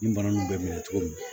Nin bana ninnu bɛ minɛ cogo min